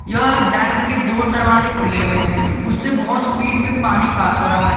यह डैम के दो दरवाजे खुले हुए हैं उससे बहोत स्पीड में पानी पास हो रहा है।